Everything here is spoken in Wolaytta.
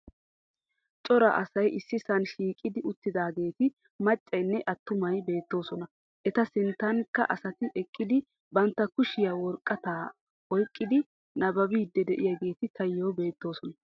Cora asay issisan shiiqidi uttidaageeti maccayinne attumay beettoosona. Eta sinttankka asati eqqidi bantta kushiyan woraqataa oyiqqidi nabbabbiiddi diyageeti Tayo beettoosona.